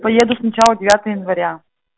поеду сначала девятое января